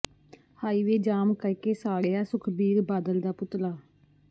highway ਜਾਮ ਕਰ ਕੇ ਸਾੜਿਆ ਸੁਖਬੀਰ ਬਾਦਲ ਦਾ ਪੁਤਲਾ